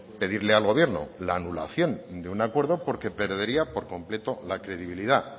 pedirle al gobierno la anulación de un acuerdo porque perdería por completo la credibilidad